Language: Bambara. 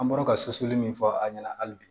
An bɔra ka sosoli min fɔ a ɲɛna hali bi